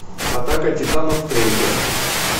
атака титанов трейлер